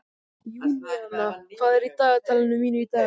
Júníana, hvað er í dagatalinu mínu í dag?